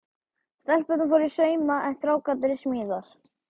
Stelpurnar fóru í sauma en strákarnir í smíðar.